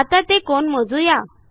आता ते कोन मोजू या